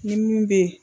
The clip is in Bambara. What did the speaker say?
Ni min bɛ ye